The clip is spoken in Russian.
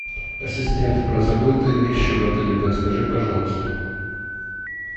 ассистент про забытые вещи в отеле подскажи пожалуйста